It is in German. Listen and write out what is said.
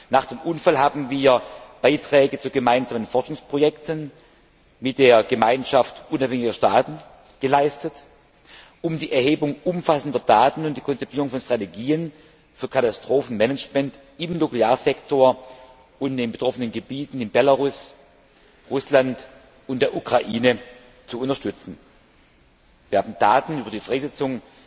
Nach dem Unfall hatten wir Beiträge zu gemeinsamen Forschungsprojekten mit der Gemeinschaft Unabhängiger Staaten geleistet, um die Erhebung umfassender Daten und die Konzipierung von Strategien für Katastrophenmanagement im Nuklearsektor und in den betroffenen Gebieten in Belarus, Russland und der Ukraine zu unterstützen. Wir haben Daten über die Freisetzung